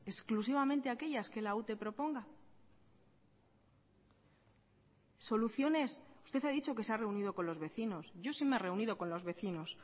exclusivamente aquellas que la ute proponga soluciones usted ha dicho que se ha reunido con los vecinos yo sí me he reunido con los vecinos